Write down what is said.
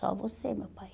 Só você, meu pai.